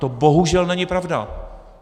To bohužel není pravda.